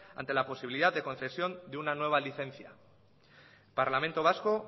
ante la posibilidad de concesión de una nueva licencia parlamento vasco